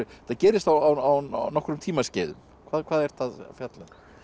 þetta gerist á nokkrum tímaskeiðum hvað hvað ertu að fjalla